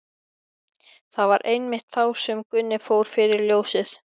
Það var einmitt þá sem Gunni fór fyrir ljósið.